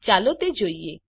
ચાલો તે જોઈએ